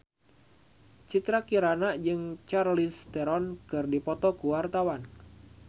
Citra Kirana jeung Charlize Theron keur dipoto ku wartawan